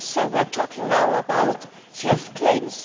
We are talking now about health claims.